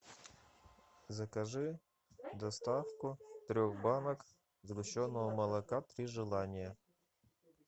закажи доставку трех банок сгущенного молока три желания